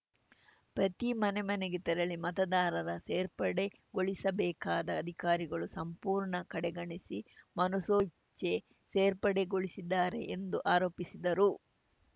ಪ್ರತಿ ಮನೆಮನೆಗೆ ತೆರಳಿ ಮತದಾರರ ಸೇರ್ಪಡೆಗೊಳಿಸಬೇಕಾದ ಅಧಿಕಾರಿಗಳು ಸಂಪೂರ್ಣ ಕಡೆಗಣಿಸಿ ಮನಸೋ ಇಚ್ಚೆ ಸೇರ್ಪಡೆಗೊಳಿಸಿದ್ದಾರೆ ಎಂದು ಆರೋಪಿಸಿದರು